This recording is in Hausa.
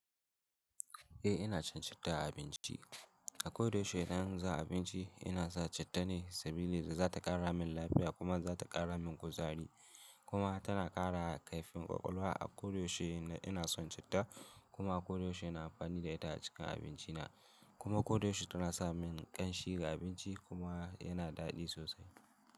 Eh ina cin citta a abinci. A koda yaushe idan za'a yi abinci ina sa citta ne saboda zata ƙara min lafiya kuma zata ƙara min kuzari kuma tana ƙara kaifin ƙwaƙwalwa. A koyaushe ina son citta kuma a koyaushe ina amfani da ita a cikin abinci na kuma koda yaushe tana sa min ƙanshi ga abinci kuma yana daɗi sosai.